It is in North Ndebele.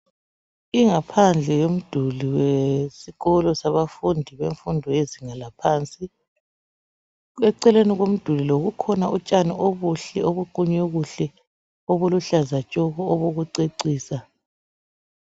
ingaphandle yomduli wesikolo sabafundi bemfundo yezinga laphansi eceleni komduli lo kukhona utshani obuhle obuqunywe kuhle obuluhlaza tshoko obokucecisa